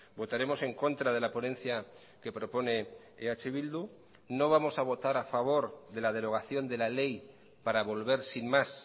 votaremos en contra de la ponencia que propone eh bildu no vamos a votar a favor de la derogación de la ley para volver sin más